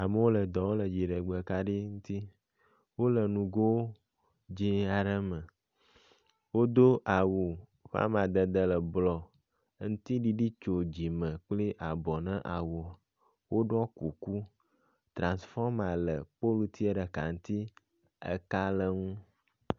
Amewo le dɔ wɔm le dziɖegbekaɖi ŋuti. Wo le nugo dzi aɖe me. Wodo awu ƒe amadede le blɔ ŋtsiɖiɖi tso dzime kple abɔ na awu. Woɖɔ kuku. Transfɔma le politsia ɖe ŋutsi eka le nu.